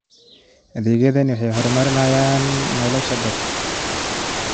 Adeegyadani waxay horumariyaan nolosha dadka.